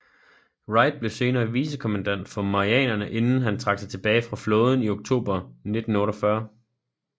Wright blev senere vicekommandant for Marianerne inden han trak sig tilbage fra flåden i oktober 1948